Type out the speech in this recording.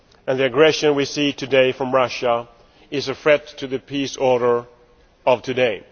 The aggression we see today from Russia is a threat to the peace order of today.